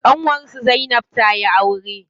Ƙanwar su zainab tayi aure.